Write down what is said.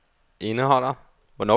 indeholder